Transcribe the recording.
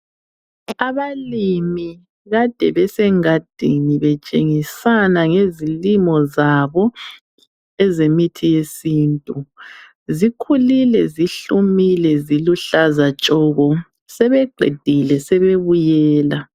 Abalimi kade besengadini betshengisana ngezilimo zabo ezemithi yesintu zikhulile zihlumile ziluhlaza tshoko sebeqedile sebebuyela.